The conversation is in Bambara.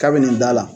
K'a bɛ nin da la